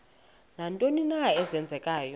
nantoni na eenzekayo